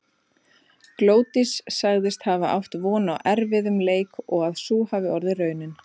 Glódís sagðist hafa átt von á erfiðum leik og að sú hafi orðið raunin.